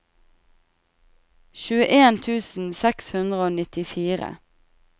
tjueen tusen seks hundre og nittifire